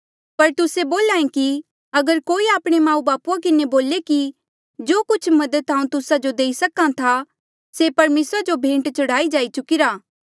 पर तुस्से बोल्हा ऐें कि अगर कोई आपणे माऊबापू किन्हें बोले कि जो कुछ मदद हांऊँ तुस्सा जो देई सक्हा था से परमेसरा जो भेंट चढ़ाई जाई चुकिरा